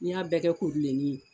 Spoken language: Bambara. N'i y'a bɛɛ kɛ kubilenni ye